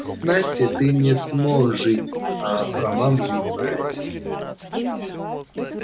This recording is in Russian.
с настей ты не смог жить а про маму не знаешь